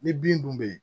Ni bin dun be yen